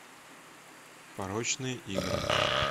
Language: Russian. порочные игры